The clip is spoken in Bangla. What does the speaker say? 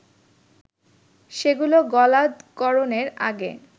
সেগুলো গলাধঃকরণের আগে